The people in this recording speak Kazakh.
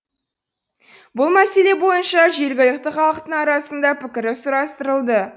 бұл мәселе бойынша жергілікті халықтың арасында пікірі сұрастырылды